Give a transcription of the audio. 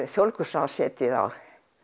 þjóðleikhúsráð setið á